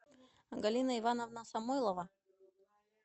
галина ивановна самойлова